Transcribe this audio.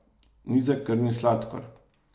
Nizek krvni sladkor.